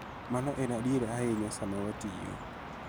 Mano en adier ahinya sama watiyo .